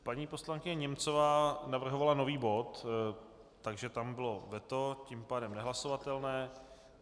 Paní poslankyně Němcová navrhovala nový bod, takže tam bylo veto, tím pádem nehlasovatelné.